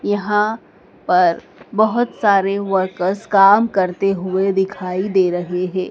यहां पर बहुत सारे वर्कर्स काम करते हुए दिखाई दे रहे हैं।